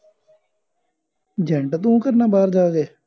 ਜੈਂਟ ਤੂੰ ਕਿ ਕਰਨਾ ਬਾਹਰ ਜਾ ਕੇ